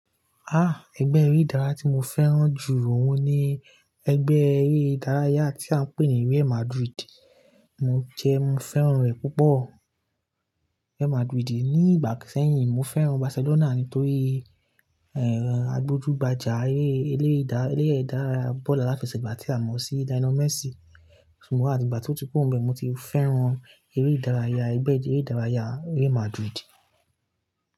Ẹgbẹ́ eré ìdárayá tí mo fẹ́ràn jù òun ni ẹgbẹ́ eré ìdárayá tí a ń pè ní Real Madrid. Mo jẹ, mo fẹ́ràn rẹ̀ púpọ̀ Real Madrid yìí Ni ìgbà sẹ́yìn, mo fẹ́ràn Barcelona nítorí, agbójúbájá eré, elere ìdá, elere ìdárayá bọ́ọ̀lù aláfẹsẹ̀gbá tí a mọ sí Lionel Messi. Sugbọ́n àti ìgbà tí ó ti kú rọ́ m bee, mo ti fẹ́ràn eré ìdárayá ẹgbẹ́ eré ìdárayá Real Madrid.